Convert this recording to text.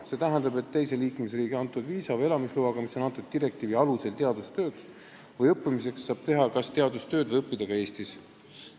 See tähendab, et teise liikmesriigi antud viisa või elamisloaga, mis on antud direktiivi alusel teadustööks või õppimiseks, saab teha teadustööd ja õppida ka Eestis.